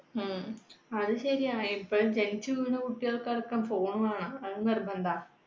ഉം അത് ശരിയാ ഇപ്പോ ജനിച്ച വീണ കുട്ടികൾക്ക് അടക്കം phone വേണം, അത് നിർബന്ധാ